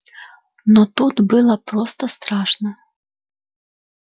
но тут было просто страшно